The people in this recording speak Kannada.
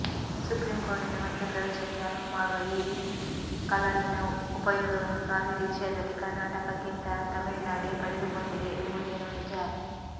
ಸುಪ್ರೀಂ ಕೋರ್ಟಿನ ಮಧ್ಯಪ್ರವೇಶಕ್ಕೆ ಅನುವುಮಾಡುವ ಈ ಕಲಮಿನ ಉಪಯೋಗವನ್ನು ಕಾವೇರಿ ವಿಷಯದಲ್ಲಿ ಕರ್ನಾಟಕಕ್ಕಿಂತ ತಮಿಳುನಾಡೇ ಪಡೆದುಕೊಂಡಿದೆ ಎಂಬುದೇನೋ ನಿಜ